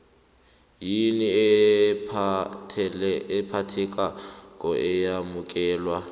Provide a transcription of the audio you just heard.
yini ephathekako eyamukelwa